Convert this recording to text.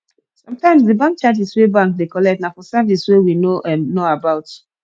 sometimes di bank charges wey bank dey collect na for service wey we no um know about